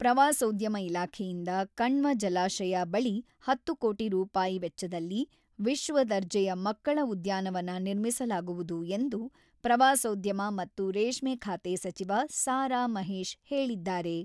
ಪ್ರವಾಸೋದ್ಯಮ ಇಲಾಖೆಯಿಂದ ಕಣ್ವ ಜಲಾಶಯ ಬಳಿ ಹತ್ತು ಕೋಟಿ ರೂಪಾಯಿ ವೆಚ್ಚದಲ್ಲಿ ವಿಶ್ವ ದರ್ಜೆಯ ಮಕ್ಕಳ ಉದ್ಯಾನವನ ನಿರ್ಮಿಸಲಾಗುವುದು ಎಂದು ಪ್ರವಾಸೋದ್ಯಮ ಮತ್ತು ರೇಷ್ಮೆ ಖಾತೆ ಸಚಿವ ಸಾ.ರಾ.ಮಹೇಶ್ ಹೇಳಿದ್ದಾರೆ.